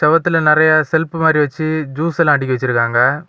சுவத்துல நெறைய செல்ஃப் மாறி வச்சு ஜுஸ் எல்லா அடுக்கி வச்சிருக்காங்க.